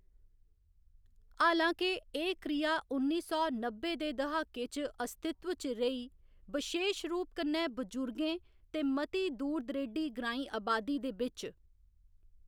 हालाँकि, एह्‌‌ क्रिया उन्नी सौ नब्बै दे दहाके च अस्तित्व च रेही, बशेश रूप कन्नै बुजुर्गें ते मती दूर दरेडी ग्रांईं अबादी दे बिच्च।